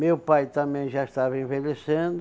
Meu pai também já estava envelhecendo,